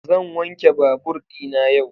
Zan wanke babur dina yau.